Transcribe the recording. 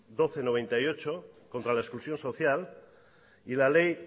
doce barra noventa y ocho contra la exclusión social y la ley